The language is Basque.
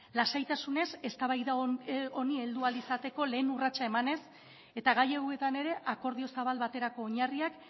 lasaitasunez eztabaida honi heldu ahal izateko lehen urratsa emanez eta gai hauetan ere akordio zabal baterako oinarriak